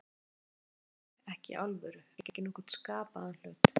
Ég gat aldrei sagt neitt við þig, ekki í alvöru, ekki nokkurn skapaðan hlut.